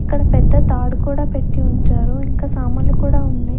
ఇక్కడ పెద్ద తాడు కూడా పెట్టి ఉంచారు ఇంకా సామాన్లు కూడా ఉన్నాయి.